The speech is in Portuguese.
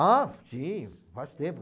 Ah, sim, faz tempo.